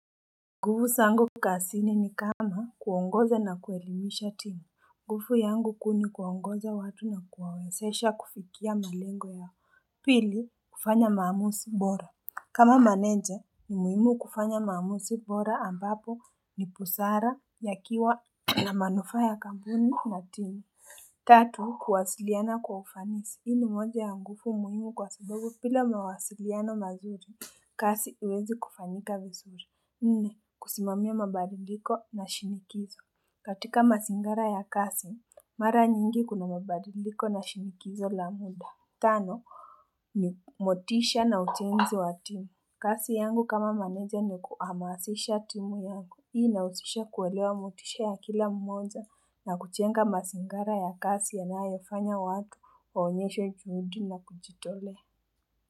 Nguvu sangu kazini ni kama kuongoza na kuelimisha timu, nguvu yangu kuu ni kuongoza watu na kuwawezesha kufikia malengo ya pili kufanya maamuzi bora. Kama menenja ni muhimu kufanya maamuzi bora ambapo ni busara yakiwa na manufaa ya kampuni na timu. Tatu kuwasiliana kwa ufanisi, mbinu moja ya nguvu muhimu kwa sababu bila mawasiliano mazuri kazi haiwezi kufanyika visuri. Nne kusimamia mabadiliko nashiriki. Katika mazingara ya kazi, mara nyingi kuna mabadiliko na shinikizo la muda. Tano ni motisha na ujenzi wa timu. Kazi yangu kama maneja ni kuhamasisha timu yangu. Hii inasisha kuelewa motisha ya kila mmoja na kujenga mazingara ya kazi yanayafanya watu waonyeshe juhudi na kujitolea.